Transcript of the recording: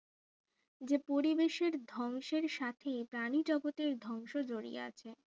যে পরিবেশের ধ্বংসের সাথে প্রাণী জগতের ধ্বংস জড়িয়ে আছে